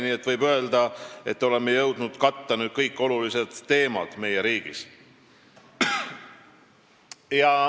Nii et võib öelda, et oleme jõudnud meie riigis kõik olulised teemad katta.